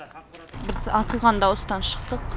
біз атылған дауыстан шықтық